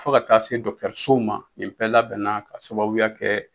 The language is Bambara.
Fɔ ka taa se dɔkitɛrisow ma nin bɛɛ labɛnna ka sababuya kɛ